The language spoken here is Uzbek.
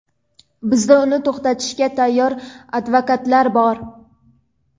bizda uni to‘xtatishga tayyor advokatlar bor.